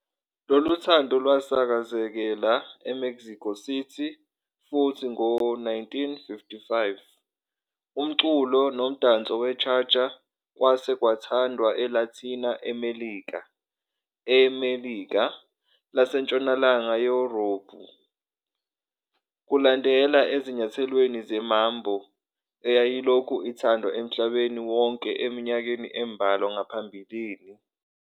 Loluthando lwasakazekela eMexico City, futhi ngo-1955, umculo nomdanso we-cha-cha kwase kuthandwa eLathina-Melika, eMelika, naseNtshonalanga Yurophu, kulandela ezinyathelweni ze-mambo, eyayilokhu ithandwa emhlabeni wonke eminyakeni embalwa ngaphambili.